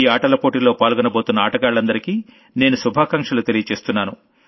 ఈ ఆటల పోటీల్లో పాల్గొనబోతున్న ఆటగాళ్లందరికీ నేను శుభాకాంక్షలు తెలుపుతున్నాను